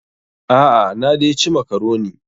A'a, na dai ci makaroni.